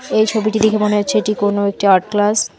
এই ছবিটি দেখে মনে হচ্ছে এটি কোনো একটি আর্ট ক্লাস ।